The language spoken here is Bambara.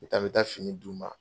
N bi taa n bɛ taa finiw d'u ma.